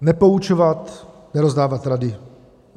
Nepoučovat, nerozdávat rady.